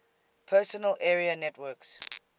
personal area networks